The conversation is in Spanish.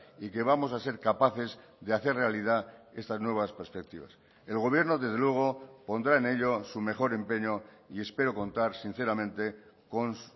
y que vamos a ser capaces de hacer realidad estas nuevas perspectivas el gobierno desde luego pondrá en ello su mejor empeño y espero contar sinceramente con